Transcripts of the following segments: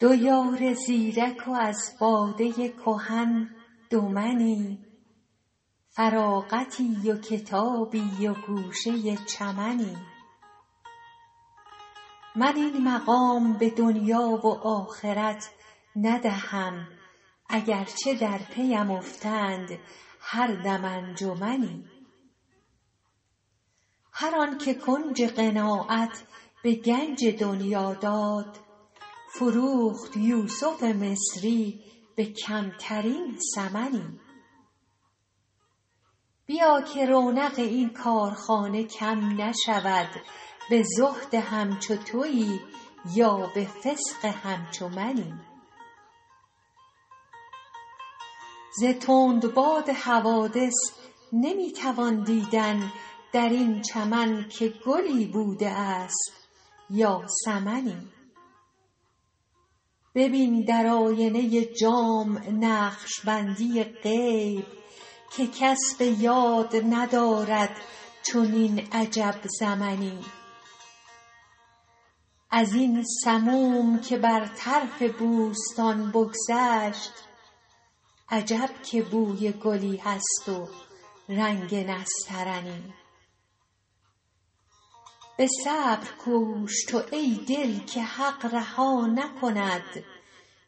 دو یار زیرک و از باده کهن دو منی فراغتی و کتابی و گوشه چمنی من این مقام به دنیا و آخرت ندهم اگر چه در پی ام افتند هر دم انجمنی هر آن که کنج قناعت به گنج دنیا داد فروخت یوسف مصری به کمترین ثمنی بیا که رونق این کارخانه کم نشود به زهد همچو تویی یا به فسق همچو منی ز تندباد حوادث نمی توان دیدن در این چمن که گلی بوده است یا سمنی ببین در آینه جام نقش بندی غیب که کس به یاد ندارد چنین عجب زمنی از این سموم که بر طرف بوستان بگذشت عجب که بوی گلی هست و رنگ نسترنی به صبر کوش تو ای دل که حق رها نکند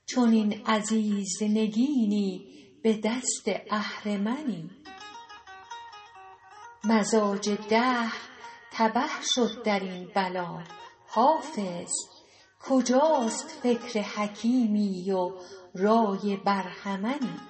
چنین عزیز نگینی به دست اهرمنی مزاج دهر تبه شد در این بلا حافظ کجاست فکر حکیمی و رای برهمنی